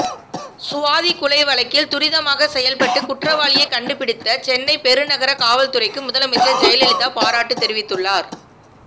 சுவாதி கொலை வழக்கில் துரிதமாக செயல்பட்டு குற்றவாளியை கண்டுபிடித்த சென்னை பெரு நகர காவல்துறைக்கு முதலமைச்சர் ஜெயலலிதா பாராட்டு தெரிவித்துள்ளார்